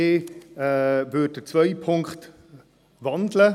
Ich werde den zweiten Punkt wandeln.